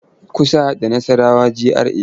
Kusa da Nassarawa GRA.